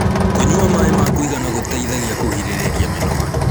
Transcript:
kũnyua maĩ ma kuigana gũteithagia kũgirĩrĩrĩa mĩnoga